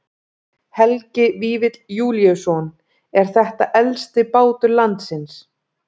Helgi Vífill Júlíusson: Er þetta elsti bátur landsins?